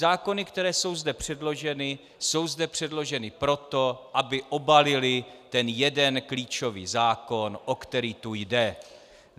Zákony, které jsou zde předloženy, jsou zde předloženy proto, aby obalily ten jeden klíčový zákon, o který tu jde.